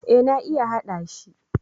Eh na iya hada shi.